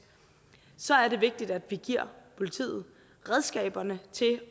så er det vigtigt at vi giver politiet redskaberne til